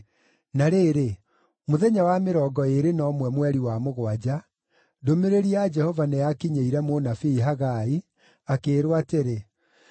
Na rĩrĩ, mũthenya wa mĩrongo ĩĩrĩ na ũmwe, mweri wa mũgwanja, ndũmĩrĩri ya Jehova nĩyakinyĩire mũnabii Hagai, akĩĩrwo atĩrĩ,